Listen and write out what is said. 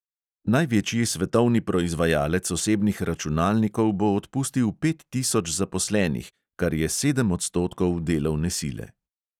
Največji svetovni proizvajalec osebnih računalnikov bo odpustil pet tisoč zaposlenih, kar je sedem odstotkov delovne sile.